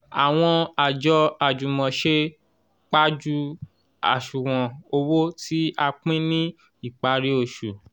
àwọn àjọ àjùmọ̀se pajú àṣùwọ̀n owó tí a pín ní ìparí oṣù